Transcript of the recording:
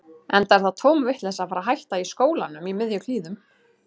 Enda er það tóm vitleysa að fara að hætta í skólanum í miðjum klíðum.